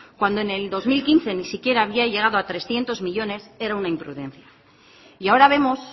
cuando en el dos mil quince ni siquiera había llegado a trescientos millónes era una imprudencia y ahora vemos